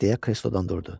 Deyə kreslodan durdu.